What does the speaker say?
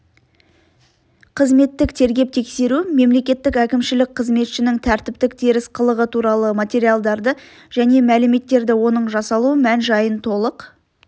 қызметтік тергеп-тексеру мемлекеттік әкімшілік қызметшінің тәртіптік теріс қылығы туралы материалдарды және мәліметтерді оның жасалу мән-жайын толық